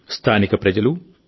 స్థానిక ప్రజలు ఎన్